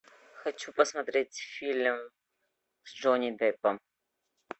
хочу посмотреть фильм с джонни деппом